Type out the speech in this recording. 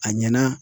A ɲɛna